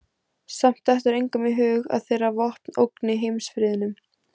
Samt dettur engum í hug að þeirra vopn ógni heimsfriðnum.